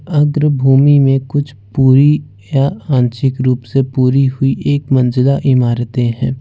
अग्र भूमि में कुछ पुरी या आंशिक रूप से पूरी हुई एक मंजिला इमारते हैं।